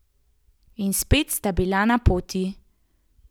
In spet sta bila na poti.